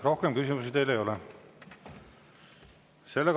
Rohkem küsimusi teile ei ole.